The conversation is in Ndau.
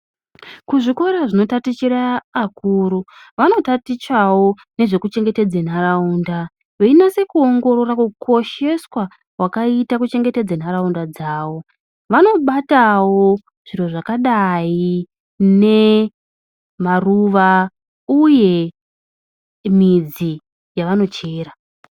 Kuzvikora zvino tatichire akuru vano tatichawo nezveku chengetedze nharaunda veinase kuongorora hukosheswa hwakaitwa kuchengetedza nharaunda dzavo vanobatawo zviro zvakadai ne maruwa uye midzi yavano chera.